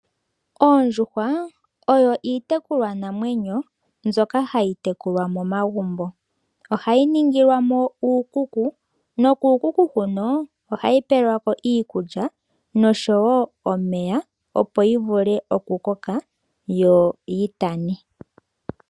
Oondjuhwa oyo itekulwa namwenyo mbyoka hayi tekulwa momagumbo, ohayi ningilwamo uukuku, nokukuku hono ohayi pelwako iikulya noshowo omeya opo yivule oku koka yo yitane.